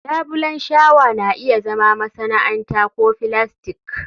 labulen shawa na iya zama masana'anta ko filastik